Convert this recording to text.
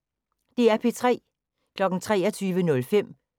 DR P3